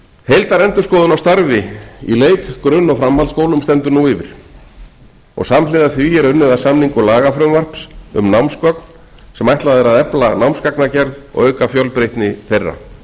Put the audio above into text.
heildarendurskoðun á starfi í leik grunn og framhaldsskólum stendur nú yfir og samhliða því er unnið að samningu lagafrumvarps um námsgögn sem ætlað er að efla námsgagnagerð og auka fjölbreytni þeirra